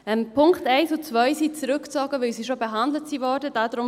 Die Punkte 1 und 2 sind zurückgezogen, weil sie schon behandelt worden sind.